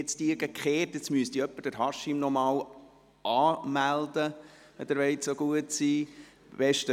Jetzt sollte sich Haşim Sancar noch einmal anmelden, wenn ich ihn bitten darf.